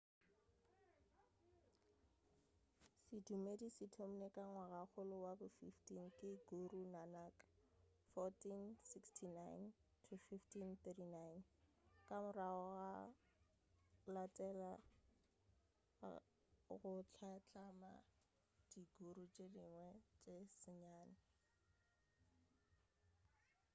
sedumedi se thomilwe ka ngwagakgolo wa bo 15 ke guru nanak 1469–1539. ka morago gwa latela ka go hlatlama di guru tše dingwe tše senyane